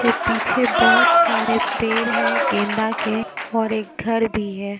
ये पीछे बहोत सारे पेड़ हैं गेंदा के और एक घर भी है।